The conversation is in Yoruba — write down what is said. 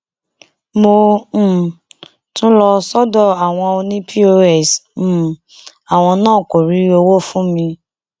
mo um tún lọ sọdọ àwọn ọnì pọs um àwọn náà kó rí owó fún mi